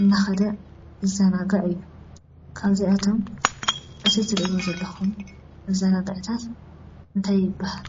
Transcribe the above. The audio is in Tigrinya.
እናከደ ይዛናጋዕ እዩ። ካብዚኣቶም እዚ እትሪእዎ ዘለኩም መዛናግዕታት እንታይ ይበሃል?